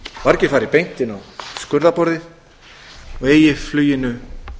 margir fari beint inn á skurðarborðið og eigi fluginu